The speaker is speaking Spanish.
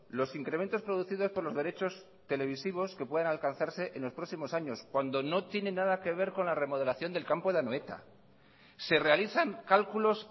los incrementos producidos por los derechos televisivos que puedan alcanzarse en los próximos años cuando no tiene nada que ver con la remodelación del campo de anoeta se realizan cálculos